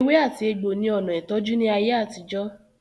Ewe ati egbo ni ona itoju ni aye atijo.